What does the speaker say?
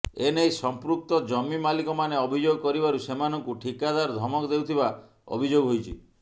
ଏନେଇ ସଂପୃକ୍ତ ଜମି ମାଲିକମାନେ ଅଭିଯୋଗ କରିବାରୁ ସେମାନଙ୍କୁ ଠିକାଦାର ଧମକ ଦେଉଥିବା ଅଭିଯୋଗ ହୋଇଛି